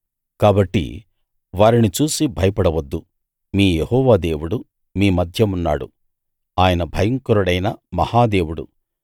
కాబట్టి వారిని చూసి భయపడవద్దు మీ యెహోవా దేవుడు మీ మధ్య ఉన్నాడు ఆయన భయంకరుడైన మహా దేవుడు